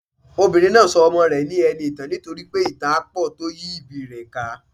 Obìnrin náà so ọmọ rè ní eniìtàn nítorípé ìtàn á pò tó yí ìbí i rè ká